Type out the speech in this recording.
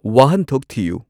ꯋꯥꯍꯟꯊꯣꯛ ꯊꯤꯌꯨ